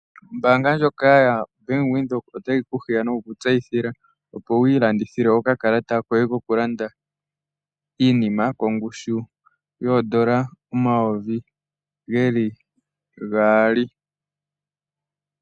Ombaanga ya Bank Windhoek ota yi ku hiya, noku kutseyithila, opo wii sindanene okakalata koye koku landa iinima kongushu yo N$ 2000.00